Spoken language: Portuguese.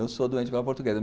Eu sou doente pela portuguesa.